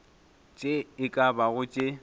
tše e ka bago tše